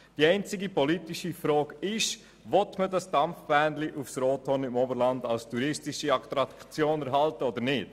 Die einzige politische Frage ist, ob das Dampfbähnchen auf das Rothorn im Oberland als touristische Attraktion erhalten werden soll oder nicht.